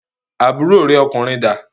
Àbúrò rẹ ọkùnrin da?